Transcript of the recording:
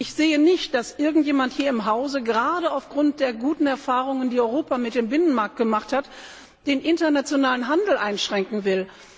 Ich sehe nicht, dass irgendjemand hier im Hause gerade aufgrund der guten Erfahrungen, die Europa mit dem Binnenmarkt gemacht hat, den internationalen Handel einschränken will.